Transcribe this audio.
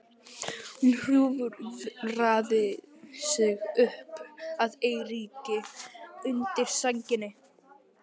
Hún hjúfraði sig upp að Eiríki undir sænginni.